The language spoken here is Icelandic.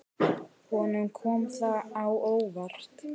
Honum kom það á óvart.